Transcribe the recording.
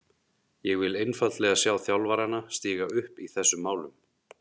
Ég vil einfaldlega sjá þjálfarana stíga upp í þessum málum.